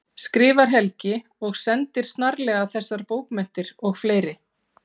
skrifar Helgi og sendir snarlega þessar bókmenntir og fleiri.